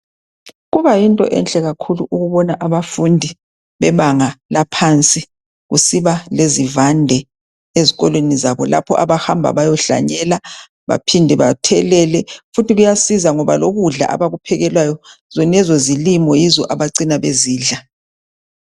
Kubayinto enhle kakhulu ukubona abafundi bebanga laphansi kusiba lezivande ezikolweni zabo lapha abahamba bayohlanyela baphinde bathelele, futhi kuyasiza ngoba lokudla abakuphekelwayo zonezo zilimo yizo abacina bezidla.